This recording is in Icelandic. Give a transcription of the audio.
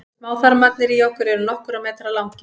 smáþarmarnir í okkur eru nokkurra metra langir